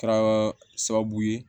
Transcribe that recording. Kɛra sababu ye